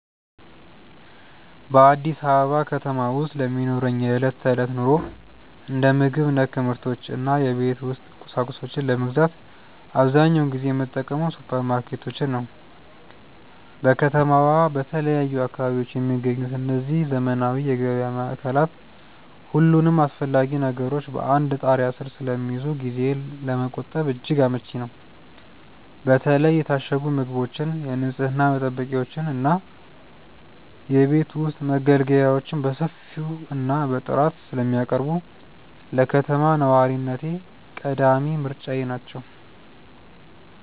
በአዲስ አበባ ከተማ ውስጥ ለሚኖረኝ የዕለት ተዕለት ኑሮ፣ እንደ ምግብ ነክ ምርቶች እና የቤት ውስጥ ቁሳቁሶችን ለመግዛት አብዛኛውን ጊዜ የምጠቀመው ሱፐርማርኬቶችን ነው። በከተማዋ በተለያዩ አካባቢዎች የሚገኙት እነዚህ ዘመናዊ የገበያ ማዕከላት፣ ሁሉንም አስፈላጊ ነገሮች በአንድ ጣሪያ ስር ስለሚይዙ ጊዜን ለመቆጠብ እጅግ አመቺ ናቸው። በተለይ የታሸጉ ምግቦችን፣ የንፅህና መጠበቂያዎችን እና የቤት ውስጥ መገልገያዎችን በሰፊው እና በጥራት ስለሚያቀርቡ፣ ለከተማ ነዋሪነቴ ቀዳሚ ምርጫዬ ናቸው።